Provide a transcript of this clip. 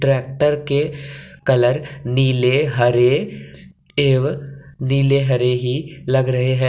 Tractor के colour नीले हरे एवं नीले हरे ही लग रहे हैं।